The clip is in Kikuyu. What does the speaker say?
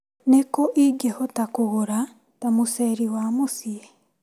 Nĩkũ ingĩhota kũgũra ta mũceri wa mũciĩ/